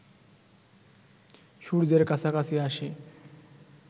সূর্যের কাছাকাছি আসে